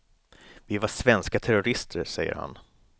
Vi var svenska terrorister, säger han.